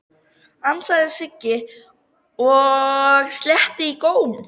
ansaði Siggi og sletti í góm.